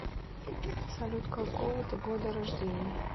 салют какого ты года рождения